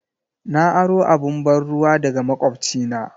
Na aro abun ban'ruwa daga makwabcina.